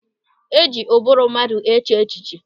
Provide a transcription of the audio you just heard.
E ji ụbụrụ mmadụ eche echiche.